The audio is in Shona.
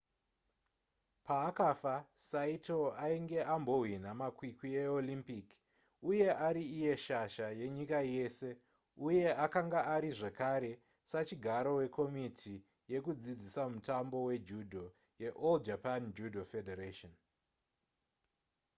paakafa saito ainge ambohwina makwikwi eolympic uye ari iye shasha yenyika yese uye akanga ari zvekare sachigaro wekomiti yekudzidzisa mutambo wejudo yeall japan judo federation